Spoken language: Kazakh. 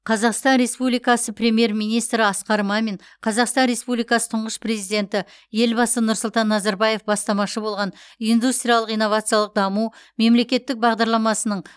қазақстан республикасы премьер министрі асқар мамин қазақстан республикасы тұңғыш президенті елбасы нұрсұлтан назарбаев бастамашы болған индустриялық инновациялық даму мемлекеттік бағдарламасының